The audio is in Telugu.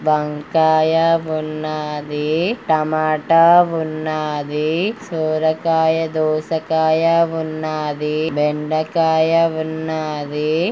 వంకాయ ఉన్నాదీ. టమాటా ఉన్నాదీ. సొరకాయ దోసకాయ ఉన్నాదీ. బెండకాయ ఉన్నాదీ.